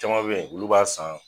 Caman be yen olu b'a san.